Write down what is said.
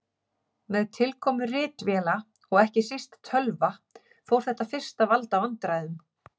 Með tilkomu ritvéla og ekki síst tölva fór þetta fyrst að valda vandræðum.